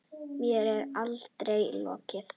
Mér er allri lokið.